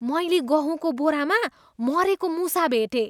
मैले गहुँको बोरामा मरेको मुसा भेटेँ।